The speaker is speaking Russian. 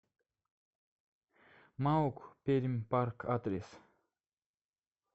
маук пермьпарк адрес